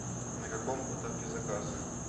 на каком этапе заказ